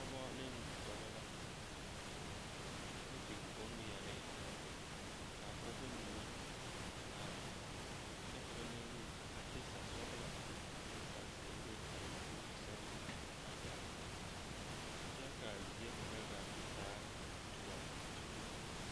Pɔgeba ne dɔba la ka ba biŋ bonŋmeɛree k,a pɔgeba mine are kyɛ ka ba leŋ patiisa sɔglɔ ane patiisa zeere a ba puori seŋ na a gaa kyɛ k,a zie kaŋ gaa te taa doɔ fee.